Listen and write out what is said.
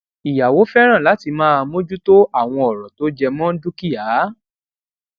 ìyàwó féràn láti máa mójú tó àwọn òrọ tó jẹ mó dúkìá